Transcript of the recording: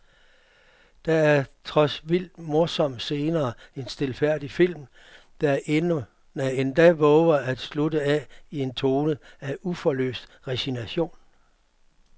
Der er trods vildt morsomme scener en stilfærdig film, der endda vover at slutte af i en tone af uforløst resignation.